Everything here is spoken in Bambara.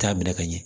T'a minɛ ka ɲɛ